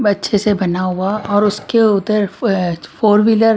अच्छे से बना हुआ और उसके उधर फोर व्हीलर --